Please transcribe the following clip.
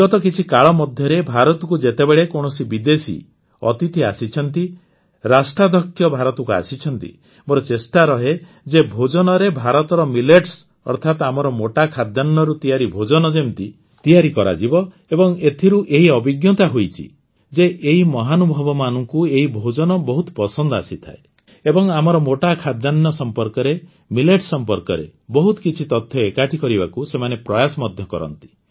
ବିଗତ କିଛି କାଳ ମଧ୍ୟରେ ଭାରତକୁ ଯେତେବେଳେ କୌଣସି ବିଦେଶୀ ଅତିଥି ଆସିଛନ୍ତି ରାଷ୍ଟ୍ରାଧ୍ୟକ୍ଷ ଭାରତ ଆସିଛନ୍ତି ମୋର ଚେଷ୍ଟା ରହେ ଯେ ଭୋଜନରେ ଭାରତର ମିଲେଟ୍ସ ଅର୍ଥାତ ଆମର ମୋଟା ଖାଦ୍ୟାନ୍ନରୁ ତିଆରି ଭୋଜନ ଯେମିତି ତିଆରି କରାଯିବ ଏବଂ ଏଥିରୁ ଏହି ଅଭିଜ୍ଞତା ହୋଇଛି ଯେ ଏହି ମହାନୁଭବମାନଙ୍କୁ ଏହି ଭୋଜନ ବହୁତ ପସନ୍ଦ ଆସିଥାଏ ଏବଂ ଆମର ମୋଟା ଖାଦ୍ୟାନ୍ନ ସମ୍ପର୍କରେ ମିଲେଟ୍ସ ସମ୍ପର୍କରେ ବହୁତ କିଛି ତଥ୍ୟ ଏକାଠି କରିବାକୁ ସେମାନେ ପ୍ରୟାସ ମଧ୍ୟ କରନ୍ତି